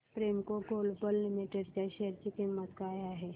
आज Premco Global Limited च्या share ची किंमत काय आहे